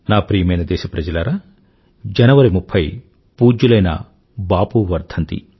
నా ప్రియమైన దేశప్రజలారా జనవరి 30 పూజ్యులైన బాపూ వర్ధంతి